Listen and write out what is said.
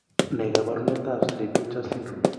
Ne kaabarunetap Cri du chat syndrome?